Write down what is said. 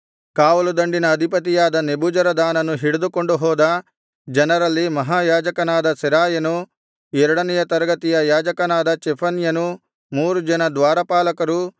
ಕಾವಲುದಂಡಿನ ಅಧಿಪತಿಯಾದ ನೆಬೂಜರದಾನನು ಹಿಡಿದುಕೊಂಡುಹೋದ ಜನರಲ್ಲಿ ಮಹಾಯಾಜಕನಾದ ಸೆರಾಯನು ಎರಡನೆಯ ತರಗತಿಯ ಯಾಜಕನಾದ ಚೆಫನ್ಯನು ಮೂರು ಜನ ದ್ವಾರಪಾಲಕರು